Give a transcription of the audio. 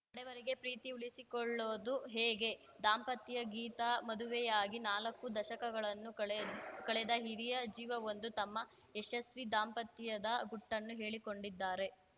ಕಡೆವರೆಗೆ ಪ್ರೀತಿ ಉಳಿಸಿಕೊಳ್ಳೋದು ಹೇಗೆ ದಾಂಪತ್ಯ ಗೀತ ಮದುವೆಯಾಗಿ ನಾಲ್ಕು ದಶಕಗಳನ್ನು ಕಳೆ ಕಳೆದ ಹಿರಿಯ ಜೀವವೊಂದು ತಮ್ಮ ಯಶಸ್ವೀ ದಾಂಪತ್ಯದ ಗುಟ್ಟನ್ನು ಹೇಳಿಕೊಂಡಿದ್ದಾರೆ